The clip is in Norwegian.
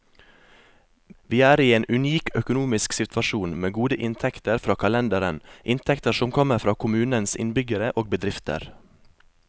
Vi er i en unik økonomisk situasjon, med gode inntekter fra kalenderen, inntekter som kommer fra kommunens innbyggere og bedrifter.